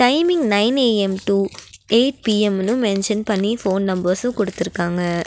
Timing nine A M to eight பி_எம்னு mention பண்ணி phone numbers குடுத்திருக்காங்க.